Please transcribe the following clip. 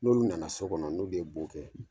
N'olu nana so kɔnɔ, n'olu ye bo kɛ